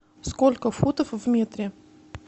сколько футов в метре